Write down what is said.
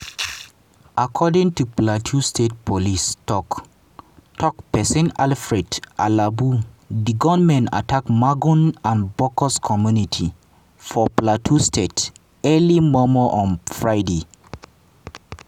according to plateau state police tok-tok pesin alfred alabo di gunmen attack magun and bokkos community for plateau state early mor-mor on friday.